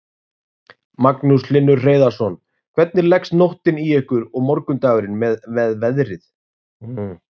Magnús Hlynur Hreiðarsson: Hvernig leggst nóttin í ykkur og morgundagurinn með veðrið?